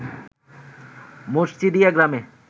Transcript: মসজিদিয়া গ্রামে